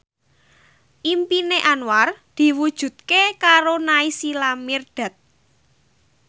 impine Anwar diwujudke karo Naysila Mirdad